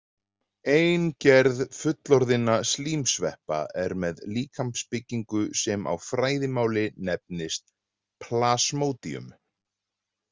Ein gerð fullorðinna slímsveppa er með líkamsbyggingu sem á fræðimáli nefnist plasmodium.